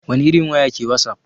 Wani irin waya ke wasap?